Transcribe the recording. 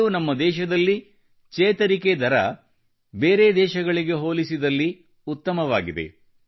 ಇಂದು ನಮ್ಮ ದೇಶದಲ್ಲಿ ಚೇತರಿಕೆ ದರ ಬೇರೆ ದೇಶಗಳಿಗೆ ಹೋಲಿಸಿದಲ್ಲಿ ಉತ್ತಮವಾಗಿದೆ